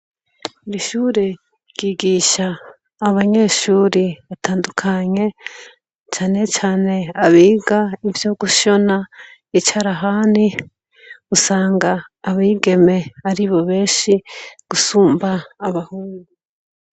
Iri shure ry'igisha abanyeshure batandukanye, cane cane abiga ivyo gushona icarahani, usanga abigeme ari bo benshi gusumba abahungu.